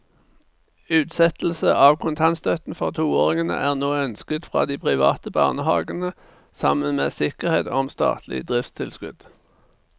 Utsettelse av kontantstøtten for toåringene er nå ønsket fra de private barnehavene sammen med sikkerhet om statlig driftstilskudd.